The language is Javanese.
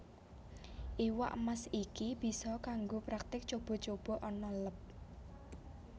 Iwak Mas iki bisa kanggo praktik cuba cuba ana leb